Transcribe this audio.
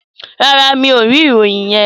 No, I don't have that information.